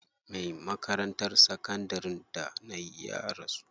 Me makarantar sakandarin da nayi ya rasu.